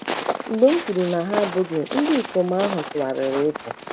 Mgbe m kwuru na ha abụghị, ndị ikom ahụ tụgharịrị ịpụ.